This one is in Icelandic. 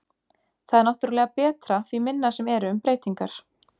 Það er náttúrulega betra því minna sem eru um breytingar.